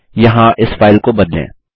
यहाँ इस फाइल को बदलें